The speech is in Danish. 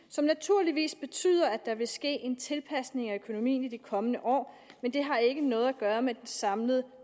som naturligvis betyder at der vil ske en tilpasning af økonomien i de kommende år men det har ikke noget at gøre med den samlede